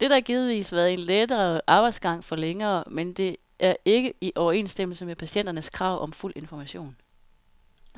Dette har givetvis været en lettere arbejdsgang for lægerne, men det er ikke i overensstemmelse med patienternes krav om fuld information.